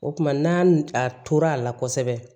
O kumana n'a tor'a la kosɛbɛ